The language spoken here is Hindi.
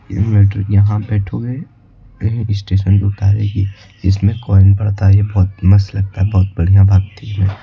यह मेट्रो यहां मेट्रो है यह स्टेशन पे उतारेगी इसमें कॉइन पड़ता है यह बहुत मस्त लगता है बहुत बढ़िया भागती है।